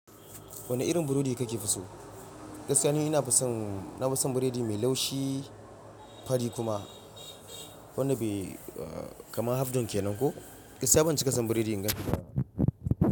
Wane irin burodi kake fi so? Gaskiya ni ina fi son, na fi son burodi mai laushi fari kuma wanda bai, eh, kamar half done kenan ko. Gaskiya ban cika son burodi in gan shi da.